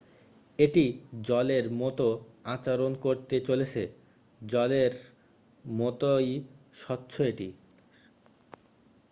"""এটি জলের মতো আচরণ করতে চলেছে। জলেরর মতই স্বচ্ছ এটি।